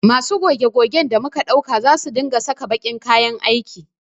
Masu goge gogen da muka ɗauka za su dinga saka baƙin kayan aiki